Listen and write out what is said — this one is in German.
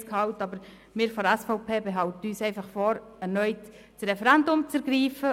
Wir von der SVP behalten uns vor, das Referendum erneut zu ergreifen.